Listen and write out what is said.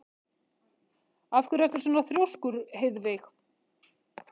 Af hverju ertu svona þrjóskur, Heiðveig?